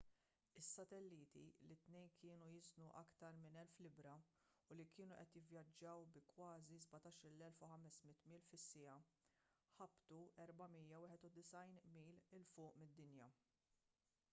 is-satelliti li t-tnejn kienu jiżnu aktar minn 1,000 libbra u li kienu qed jivvjaġġaw bi kważi 17,500 mil fis-siegħa ħabtu 491 mil il fuq mid-dinja